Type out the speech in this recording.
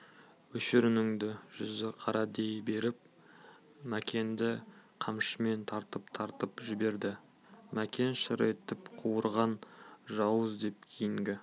өшір үніңді жүзі қара дей беріп мәкенді қамшымен тартып-тартып жіберді мәкен шыр етіп қуарған жауыз деп кейінгі